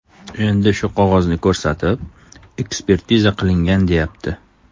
Endi shu qog‘ozni ko‘rsatib, ekspertiza qilingan deyapti.